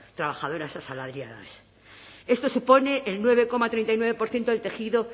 trabajadoras asalariadas esto supone el nueve coma treinta y nueve por ciento del tejido